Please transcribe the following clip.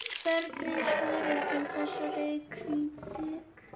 Hvernig svarar þú þessari krítík?